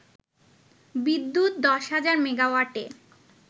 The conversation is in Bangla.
বিদ্যুৎ দশ হাজার মেগাওয়াটে